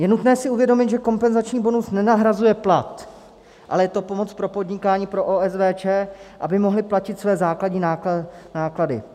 Je nutné si uvědomit, že kompenzační bonus nenahrazuje plat, ale je to pomoc pro podnikání, pro OSVČ, aby mohly platit své základní náklady.